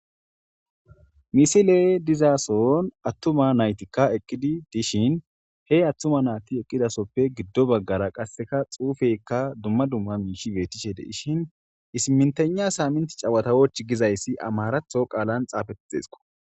Misiley dizason attuma naytika eqqidi dishin he attuma nayti eqqidasoppe giddo baggara qasenka xuufeyka dumma dumma miishi beetishe de'eshin simintegna samint chewatawoch gizayssi amaratho qaalan xaafetidesko.